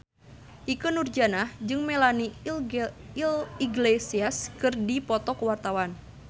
Ikke Nurjanah jeung Melanie Iglesias keur dipoto ku wartawan